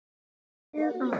Komið eftir hádegi á morgun.